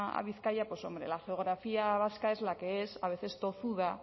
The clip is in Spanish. a bizkaia pues hombre la geografía vasca es la que es a veces tozuda